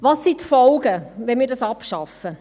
Welches sind die Folgen, wenn wir das abschaffen?